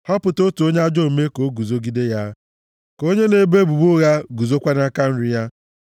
Họpụta otu onye ajọ omume ka o guzogide ya; ka onye na-ebo ebubo ụgha guzokwa nʼaka nri ya.